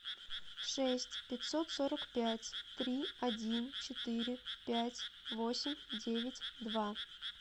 шесть пятьсот сорок пять три один четыре пять восемь девять два